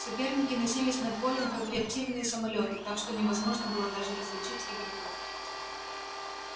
соперники носились над полем как реактивные самолёты так что невозможно было даже различить игроков